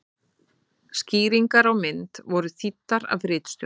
Skýringar á mynd voru þýddar af ritstjórn.